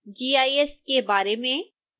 gis के बारे में